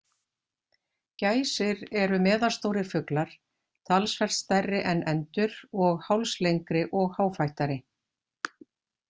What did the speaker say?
Gæsir eru meðalstórir fuglar, talsvert stærri en endur og hálslengri og háfættari.